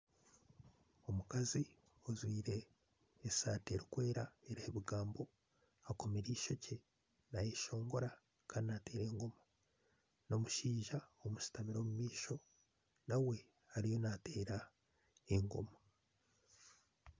Omukazi ojwaire esaati erikwera eriho ebigambo akomire eishookye nayeshongora kandi nateera engoma haine omushaija omushutamire omumaisho nawe ariyo nateera engoma